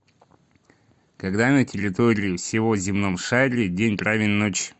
когда на территории всего земном шаре день равен ночи